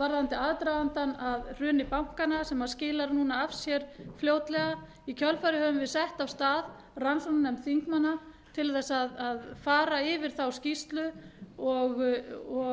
varðandi aðdragandann að hruni bankana sem skilar núna af sér fljótlega í kjölfarið höfum við sett af stað rannsóknarnefnd þingmanna til þess að fara yfir þá skýrslu og